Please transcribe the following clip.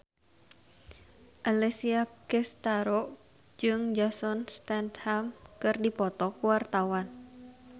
Alessia Cestaro jeung Jason Statham keur dipoto ku wartawan